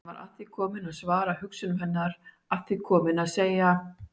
Hann var að því kominn að svara hugsunum hennar, að því kominn að segja